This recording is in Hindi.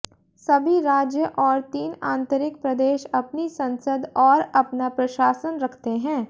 सभी राज्य और तीन आन्तरिक प्रदेश अपनी संसद और अपना प्रशासन रखते हैं